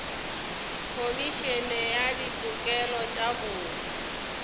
khomišene ya ditokelo tša botho